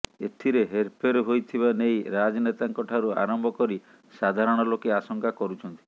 ଏଥିରେ ହେରଫେର ହୋଇଥିବା ନେଇ ରାଜନେତାଙ୍କ ଠାରୁ ଆରମ୍ଭ କରି ସାଧାରଣ ଲୋକେ ଆଶଙ୍କା କରୁଛନ୍ତି